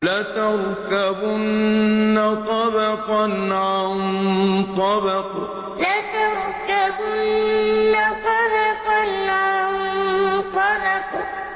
لَتَرْكَبُنَّ طَبَقًا عَن طَبَقٍ لَتَرْكَبُنَّ طَبَقًا عَن طَبَقٍ